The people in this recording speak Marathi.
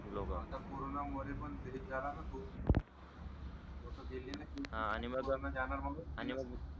खूप लोक आता कोरोनामूळ हेच झाल ना खूप लोक गेली नाय आणि मग कोरोना जाणार म्हणून आणि मग